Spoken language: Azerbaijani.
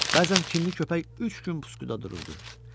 Bəzən kinli köpək üç gün puskuda dururdu.